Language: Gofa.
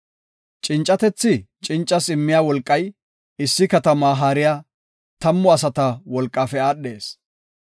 Cincatethi cincaas immiya wolqay issi katama haariya tammu asata wolqafe aadhees.